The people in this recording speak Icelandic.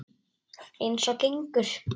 Eins og gengur.